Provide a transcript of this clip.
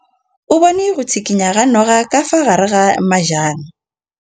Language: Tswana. O bone go tshikinya ga noga ka fa gare ga majang.